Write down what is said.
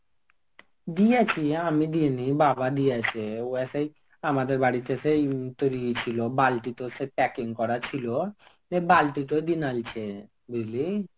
দিয়াছি, আমি দিইনি বাবা দিয়ছে ও আছে আমাদের বাড়তে সেই তুলিয়ছিল বালতি তো সে packing করা ছিল যে বালতি তো দিনালছে বুঝলি.